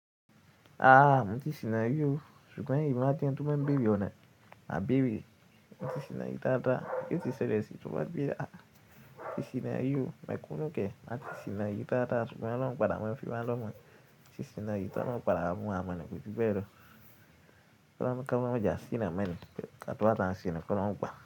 Aaa, mo ti sìná rí o, ṣùgbọ́n èmi máa jẹ ẹnití o máa bèrè ọ̀nà, má bèrè. Mo ti sìná ri dada, kí o sì ṣẹlẹ̀ sí tún bá gbé, a, ti sìná rí o, i couldn't care ẹ má ti sìná yí táa táa, ṣùgbọ́n lọ́la mó padà mọ ìfipá lọ́mọ, ti sìná yí táa lọ padà mú àmọ̀ ni kù bí bẹ́ẹ̀ lọ. Ka mó ká lọ́jà sí náà mẹ́rin, pé ká tó wá tán sì ni kò lọ́la mó gba.